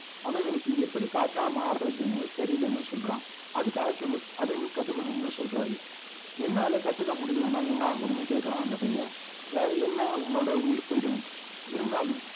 ஆனா எனக்கு எப்படி காற்றா மார்றதுன்னு தெரியலைன்னு சொல்றான் அதுக்கு அல்கெமிஸ்ட் அதை நீ கத்துக்கணும்னு சொல்றாரு என்னால கத்துக்க முடியலைன்னா என்ன ஆகும்னு கேக்குறான் அந்த பையன் வேற என்ன உன்னோட உயிர் போயிரும் இருந்தாலும்